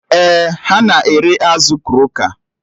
Ee, ha na-ere azụ kroka